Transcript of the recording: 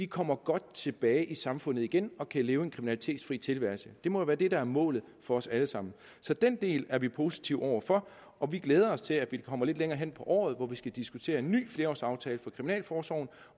kommer godt tilbage i samfundet igen og kan leve en kriminalitetsfri tilværelse det må jo være det der er målet for os alle sammen så den del er vi positive over for og vi glæder os til at vi kommer lidt længere hen på året hvor vi skal diskutere en ny flerårsaftale for kriminalforsorgen